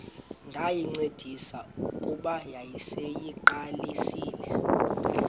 ndayincedisa kuba yayiseyiqalisile